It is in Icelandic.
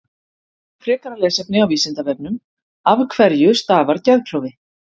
Frekara lesefni á Vísindavefnum Af hverju stafar geðklofi?